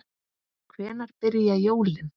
Hvenær byrja jólin?